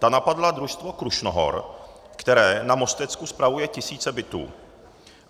Ta napadla družstvo Krušnohor, které na Mostecku spravuje tisíce bytů.